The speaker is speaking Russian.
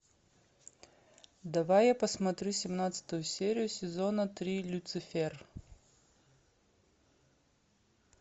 давай я посмотрю семнадцатую серию сезона три люцифер